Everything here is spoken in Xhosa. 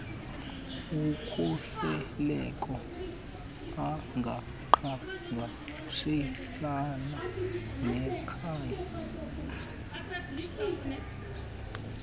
ukhuseleko angaqhagamshelana nekhaya